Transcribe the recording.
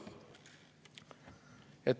Kolm minutit.